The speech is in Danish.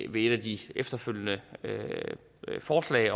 ved et af de efterfølgende forslag